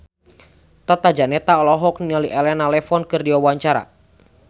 Tata Janeta olohok ningali Elena Levon keur diwawancara